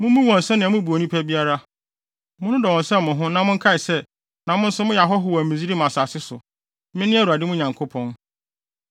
Mummu wɔn sɛnea mubu onipa biara. Monnodɔ wɔn sɛ mo ho na monkae sɛ, na mo nso moyɛ ahɔho wɔ Misraim asase so. Mene Awurade mo Nyankopɔn.